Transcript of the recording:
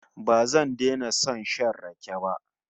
Ba zan daina son shan rake ba